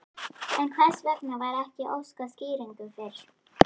En hvers vegna var ekki óskað skýringa fyrr?